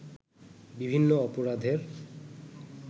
বিভিন্ন অপরাধের